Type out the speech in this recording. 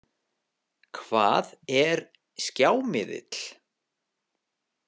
Hvað er skjámiðill?